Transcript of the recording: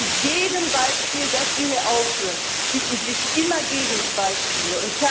Zu jedem Beispiel, das wir hier aufführen, finden sich immer Gegenbeispiele.